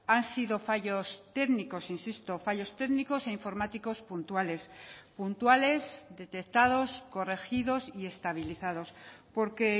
han sido fallos técnicos insisto fallos técnicos e informáticos puntuales puntuales detectados corregidos y estabilizados porque